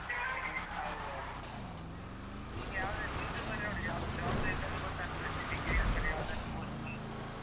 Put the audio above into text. ಹೌದೌದು media YouTube ಅಲ್ಲಿ ನೋಡಿದೆ ಯಾವುದೂ job ಬೇಕಾದ್ರೂ ಗೊತ್ತಾಗ್ತದೆ d~ degree ಆದ್ಮೇಲೆ ಯಾವ್ದೆಲ್ಲ post ಉಂಟು.